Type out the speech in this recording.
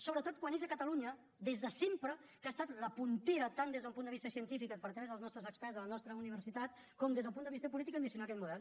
sobretot quan és a catalunya des de sempre que ha estat la puntera tant des d’un punt de vista científic a partir dels nostre experts de la nostra universitat com des del punt de vista polític ambicionar aquest model